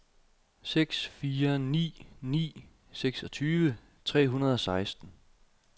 seks fire ni ni seksogtyve tre hundrede og seksten